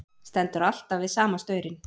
Stendur alltaf við sama staurinn.